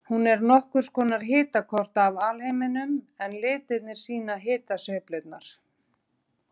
Hún er nokkurs konar hitakort af alheiminum en litirnir sýna hitasveiflurnar.